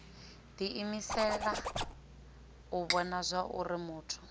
diimisela u vhona zwauri muthu